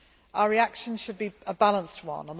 Our reaction should be a balanced one.